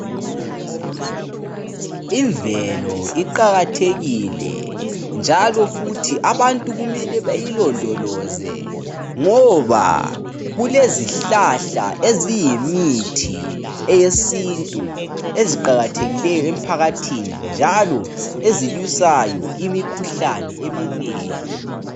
Imvelo iqakathekile njalo futhi abantu kumele bayilondoloze ngoba kulezihlahla eziyimithi eyesintu eziqakathikileyo emphakathini njalo ezilwisayo imikhuhlane eminengi.